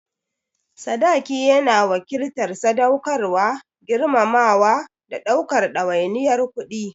Sadaki yana wakiltar sadaukarwa, girmamawa, da ɗaukar ɗawainiyar kuɗi.